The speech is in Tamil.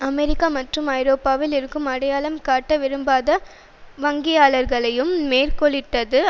அமெரிக்கா மற்றும் ஐரோப்பாவில் இருக்கும் அடையாளம் காட்ட விரும்பாத வங்கியாளர்களையும் மேற்கோளிட்டது